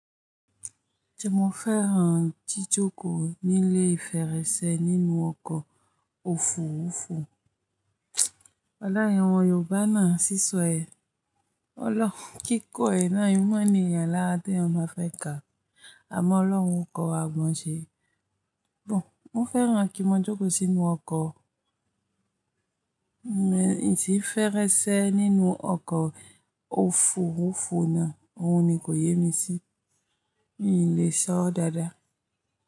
Se mo fẹ́rán jijókòó nílé ferẹ́sẹ́ nínú ọkọ̀ òfurufú. Leyin omo Yoobá náà sísọ ẹ̀. Ọ́ lọ kíko ẹ̀ náà, n mọ̀ ènìyàn làrá té eeyan ba fẹ́ káa. Àmọ́ Ọlọ́run kọ́wa mọ̀ ṣe. Bọ̀n, mo fẹ́ rán kí n mo jókòó sínú ọkọ̀, ìdí ferẹ́sẹ́ nínú ọkọ̀ òfurufú náà. Òun ni kò yé mi sí. Mi n le sọ dáadáa.